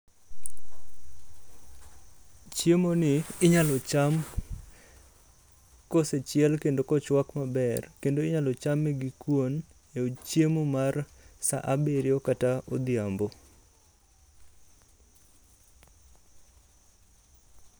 Chiemoni inyalo cham kosechiel kendo kochwak maber. Kendo inyalo chame gi kuon e chiemo mar saa abiriyo kata odhiambo.